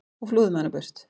og flúði með hana burt.